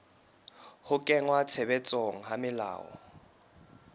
ho kenngwa tshebetsong ha melao